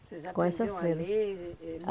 Com essa freira. Vocês aprendiam a ler eh eh?